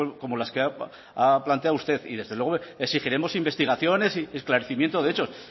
como las que ha planteado usted y desde luego exigiremos investigaciones y esclarecimiento de hechos